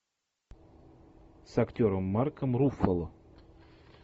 с актером марком руффало